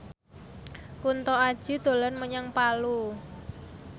Kunto Aji dolan menyang Palu